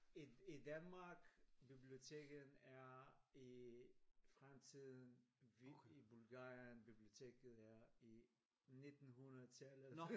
I i Danmark biblioteket er i fremtiden vi i Bulgarien biblioteket er i nittenhundredetallet